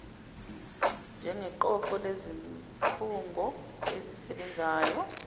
njengeqoqo lezikhungo ezisebenzayo